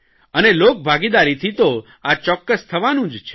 અને લોકભાગીદારીથી તો આ ચોક્કસ થવાનું જ છે